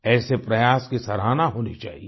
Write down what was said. ऐसे प्रयास की सराहना होनी चाहिये